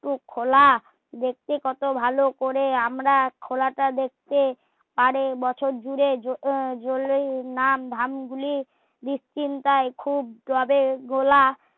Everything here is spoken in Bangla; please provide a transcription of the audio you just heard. একটি খোলে দেখতে কত ভালো করে আমরা খোলা টা দেখতে আরও বছর জুড়ে নাম ধাম গুলি দুশ্চিন্তায় খুব যাবে ঘোলা